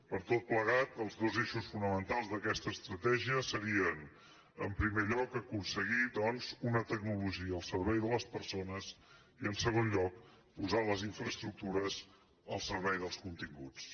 per tot plegat els dos eixos fonamentals d’aquesta estratègia serien en primer lloc aconseguir una tecnologia al servei de les persones i en segon lloc posar les infraestructures al servei dels continguts